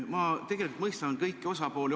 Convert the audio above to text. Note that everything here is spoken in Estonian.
Ma tegelikult mõistan kõiki osapooli.